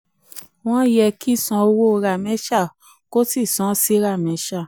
wọ́n yẹ kí san owó ramesha kò sí san sí sramesha.